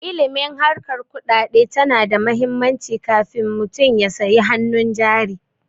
Ilimin harkar kuɗaɗe tana da muhimmanci kafun mutum ya sayi hanun jari